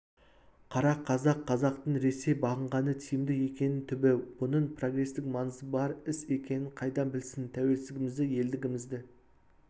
қара қазақ қазақтың ресей бағынғаны тиімді екенін түбі бұның прогрестік маңызы бар іс екенін қайдан білсін тәуелсіздігімізді елдігімізді